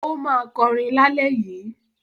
Ó máa kọrin lálẹ́ yìí.